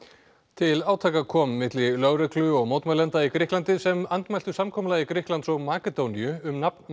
til átaka kom milli lögreglu og mótmælenda í Grikklandi sem andmæltu samkomulagi Grikklands og Makedóníu um nafn